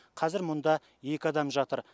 қазір мұнда екі адам жатыр